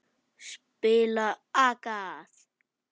Spila agað!